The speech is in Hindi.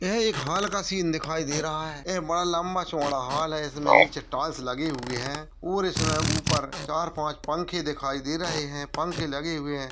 यह एक हॉल का सीन दिखाई दे रहा है एक बड़ा लम्बा-चौड़ा हॉल है इसके नीचे टाइल्स लगे हुए है और इसमें ऊपर चार-पांच पंखे दिखाई दे रहे है पंखे लगे हुए है।